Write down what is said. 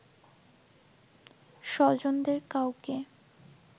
স্বজনদের কাউকে